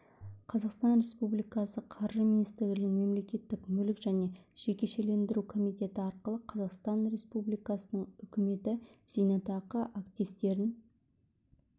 қазақстан республикасы қаржы министрлігінің мемлекеттік мүлік және жекешелендіру комитеті арқылы қазақстан республикасының үкіметі зейнетақы активтерін